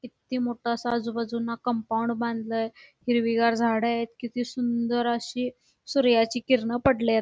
किती मोठं असं आजूबाजूला कंपाऊंड बांधलय हिरवीगार झाड आहेत किती सुंदर अशी सूर्याची किरण पडलेत.